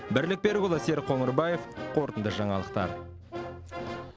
бірлік берікұлы серік қоңырбаев қорытынды жаңалықтар